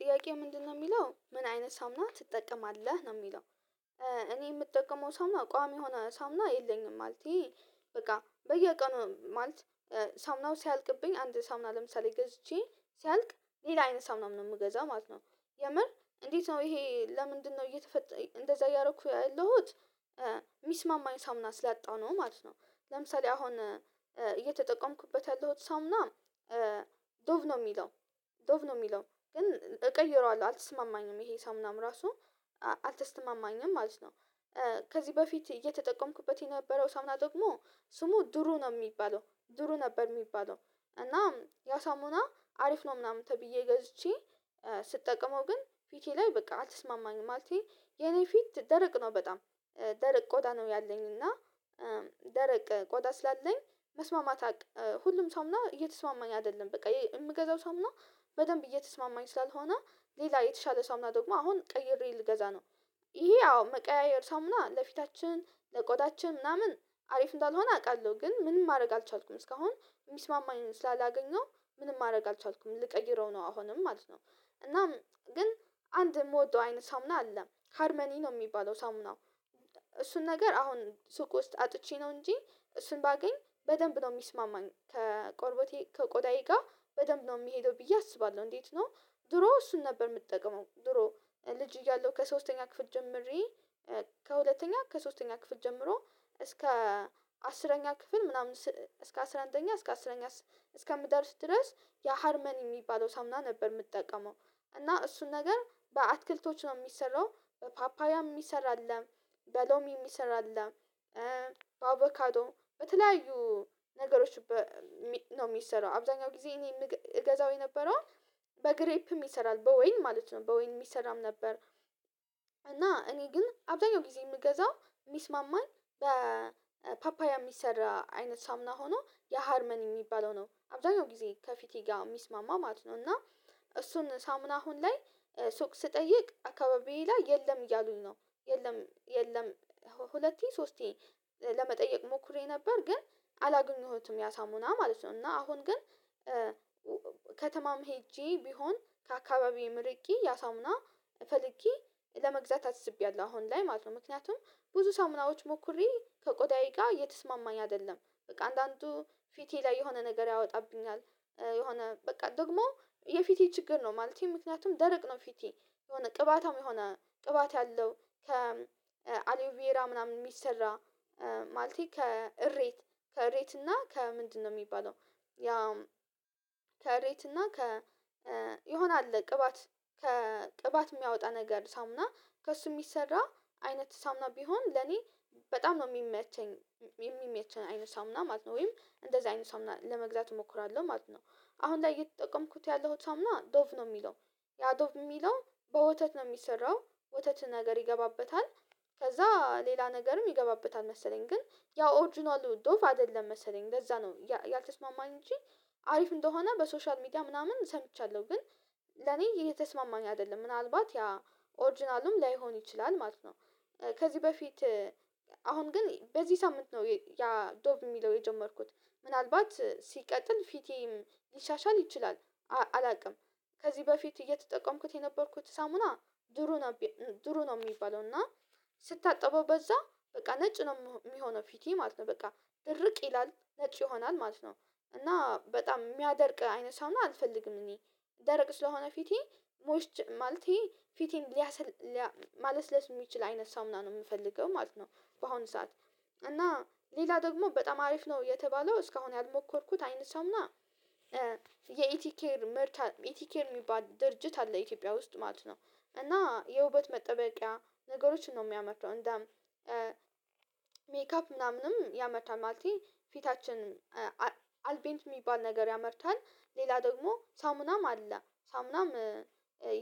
ጥያቄ ምንድነው የሚለው ምን አይነት ሳሙና ትጠቀማለህ ነው የሚለው? እኔ የምጠቀመው ሳሙና ቋሚ የሆነ ሳሙና የለኝም ማለቴ በቃ በየቀኑ ማለት ሳሙናው ሲያልቅብኝ አንድ ሳሙና ለምሳሌ ገዝቼ ሲያልቅ ሌላ አይነት ሳሙና ነው የምገዛው ማለት ነው። የምር እንዴት? ነው ይሄ ለምንድንነው እየተፈጠረ እንደዛ እያረኩ ያለሁት የሚስማማኝ ሳሙና ስላጣሁ ነው ማለት ነው። ለምሳሌ አሁን እየተጠቀምኩበት ያለሁት ሳሙና ዶቭ ነው የሚለው። ዶቭ ነው የሚለው ግን እቀይረዋለሁ አልተስማማኝም ይሄ ሳሙናም ራሱ አልተስተማማኝም ማለት ነው። ከዚህ በፊት እየተጠቀምኩበት የነበረው ሰሙና ደግሞ ስሙ ድሩ ነው የሚባለው ድሩ ነበር የሚባለው። እና ያ ሳሙና አሪፍ ነው ምናምን ተብዬ ገዝቼ ስጠቅመው ግን ፊቴ ላይ በቃ አልተስማማኝ ማለቴ የኔ ፊት ደረቅ ነው በጣም። ደረቅ ቆዳ ነው ያለኝ እና ደረቅ ቆደ ስላለኝ መስማማት አቅ ሁሉም ሳሙና እየተስማማኝ አይደለም በቃ የምገዛው ሳሙና። በደንብ እየተስማማኝ ስላልሆነ ሌላ የተሻለ ሳሙና ደግሞ አሁን ቀይሬ ልገዛ ነው። ይሄ አዎ መቀያየር ሳሙና ለፊታችን ለቆዳችን ምናምን አሪፍ እንዳልሆነ አውቃለሁ ግን ምንም ማድረግ አልቻልኩም እስካሁን የሚስማማኝን ስላላገኘው ምንም ማድረግ አልቻልኩም ልቀይረው ነው አሁንም ማለት ነው። እናም ግን አንድ የምወደው አይነት ሳሙና አለ ሃርመኒ ነው የሚባለው ሳሙናው። እሱን ነገር አሁን ሱቅ ውስጥ አጥቼ ነው እንጂ እሱን ባገኝ በደንብ ነው የሚስማማኝ ከቆርቦቴ ከቆዳዬ ጋር በደንብ ነው የሚሄደው ብዬ አስባለሁ እንዴት ነው? ድሮ እሱን ነበር የምትጠቀመው ድሮ ልጅ እያለሁ ከሶስተኛ ክፍል ጀምሬ ከሁለተኛ ከሶስተኛ ክፍል ጀምሮ እስከ አስረኛ ክፍል ምናምን እስከ አስራ አንደኛ እስከ አስረኛ እስከምደርስ ድረስ የሀርመኒ የሚባለው ሳሙና ነበር የምጠቀመው። እና እሱን ነገር በአትክልቶች ነው የሚሰራው በፓፓያ የሚሰራ አለ በሎሚ የሚሰራ አለ። በአቮካዶ በተለያዩ ነገሮች በሚ ነው የሚሰራው አብዛኛው ጊዜ እኔ የምገዛው የነበረው በግሬፕም ይሰራል በወይን ማለት ነው በወይን የሚሰራም ነበር። እና እኔ ግን አብዛኛው ጊዜ የምገዛው የሚስማማኝ በፓፓያ የሚሰራ አይነት ሳሙና ሆኖ የሀርመኒ የሚባለው ነው አብዛኛው ጊዜ ከፊቴ ጋር የሚስማማ ማለት ነው። እና እሱን ሳሙና አሁን ላይ ሱቅ ስጠይቅ አካባቢዬ ላይ የለም እያሉኝ ነው የለም የለም። ሁለቴ ሶስቴ ለመጠየቅ ሞክሬ ነበር ግን አላገኘሁትም ያ ሳሙና ማለት ነው። እና አሁን ግን ከተማም ሄጄ ቢሆን ከአካባቢዬ ርቄ ያሳሙና ፈልጌ ለመግዛት አስቤያለሁ አሁን ላይ ማለት ነው። ምክንያቱም ብዙ ሳሙናዎች ሞክሬ ከቆዳዬ ጋር እየተስማማኝ አይደለም በቃ አንዳንዱ ፊቴ ላይ የሆነ ነገር ያወጣብኛል። የሆነ በቃ ደግሞ የፊቴ ችግር ነው ማለቴ ምክንያቱም ደረቅ ነው ፊቴ። የሆነ ቅባታም የሆነ ቅባት ያለው ከ አሊቬራ ምናምን የሚሰራ ማለቴ ከእሬት ከሬት እና ከምንድንነው የሚባለው። ያ ከሬት እና ከ የሆነ አለ ቅባት ከቅባት የሚያወጣ ነገር ሳሙና ከእሱ የሚሰራ አይነት ሳሙና ቢሆን ለኔ በጣም ነው የሚመቸኝ የሚመቸኝ አይነት ሳሙና ማለት ነው። ወይም እንደዛ አይነት ሳሙና ለመግዛት እሞክራለሁ ማለት ነው። አሁን ላይ እየተጠቀምኩት ያለሁት ሳሙና ዶብ ነው የሚለው ያ ዶብ የሚለው በወተት ነው የሚሰራው። ወተት ነገር ይገባበታል ከዛ ሌላ ነገርም ይገባበታል መሰለኝ ግን ያው ኦሪጅናል ዶብ አይደለም መሰለኝ ለዛ ነው ያልተስማማኝ እንጂ። አሪፍ እንደሆነ በሶሻል ሚዲያ ምናምን ሰምቻለሁ ግን ለኔ እየተስማማኝ አይደለም ምናልባት ያ ኦሪጅናሉም ላይሆን ይችላል ማለት ነው። ከዚህ በፊት አሁን ግን በዚህ ሳምንት ነው ያ ዶቭ የሚለው የጀመርኩት ምናልባት ሲቀጥል ፊቴም ሊሻሻል ይችላል። አ አላውቅም። ከዚህ በፊት እየተጠቀምኩት የነበርኩት ሳሙና ድሩ ነው። ድሮ ነው የሚባለው እና ስታጠበው በዛ በቃ ነጭ ነው የሚሆነው ፊቴ ማለት ነው በቃ ድርቅ ይላል ነጭ ይሆናል ማለት ነው። እና በጣም የሚያደርቅ አይነት ሳሙና አልፈልግም እኔ ደረቅ ስለሆነ ፊቴ ሞይስቸ ማለቴ ፊቴን ሊያሰል ሊያ ማለስለስ የሚችል አይነት ሳሙና ነው የምፈልገው ማለት ነው። በአሁኑ ሰዓት እና ሌላ ደግሞ በጣም አሪፍ ነው የተባለው እስካሁን ያልሞከርኩት አይነት ሳሙና የኢቲ ኬር ምርት ኢቲ ኬር የሚባል ድርጅት አለ ኢትዮጵያ ውስጥ ማለት ነው። እና የውበት መጠበቂያ ነገሮችን ነው የሚያመርተው እንደ ሜካፕ ምናምንም ያመታል ማለቴ ፊታችን አልቤንት የሚባል ነገር ያመርታል። ሌላ ደግሞ ሳሙናም አለ ሳሙናም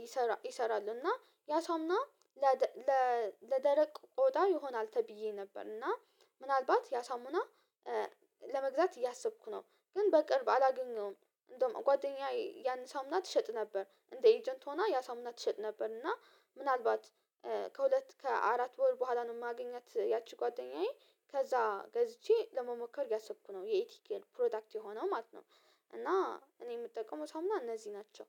ይሰራል ይሰራል እና ያ ሳሙና ለደለ ለደረቅ ቆዳ ይሆናል ተብዬ ነበር እና ምናልባት ያሳሙና ለመግዛት እያሰብኩ ነው። ግን በቅርብ አላገኘሁም። እንደውም ጓደኛየ ያን ሳሙና ትሸጥ ነበር እንደ ኤጀንት ሆና ያ ሳሙና ትሸጥ ነበር እና። ምናልባት ከሁለት ከአራት ወር በኋላ ነው የማገኛት ያቺ ጓደኛዬ ከዛ ገዝቼ ለመሞከር እያሰብኩ ነው የኢቲኬር ፕሮዳክት የሆነው ማለት ነው። እና እኔ የምጠቀመው ሳሙና እነዚህ ናቸው።